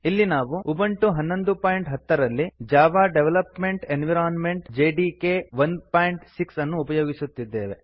ಇಲ್ಲಿ ನಾವು ಉಬುಂಟು 1110 ರಲ್ಲಿ ಜಾವಾ ಡೆವಲಪ್ಮೆಂಟ್ ಎನ್ವೈರನ್ಮೆಂಟ್ ಜೆಡಿಕೆ 16 ಅನ್ನು ಉಪಯೋಗಿಸುತ್ತಿದ್ದೇವೆ